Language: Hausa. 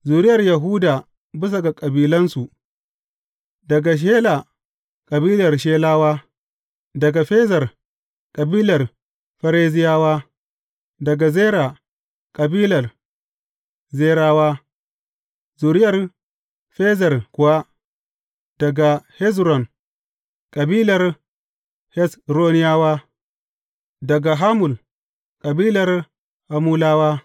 Zuriyar Yahuda bisa ga kabilansu, daga Shela, kabilar Shelayawa daga Ferez, kabilar Ferezawa; daga Zera, kabilar Zerawa; Zuriyar Ferez kuwa, daga Hezron, kabilar Hezronawa; daga Hamul; kabilar Hamulawa.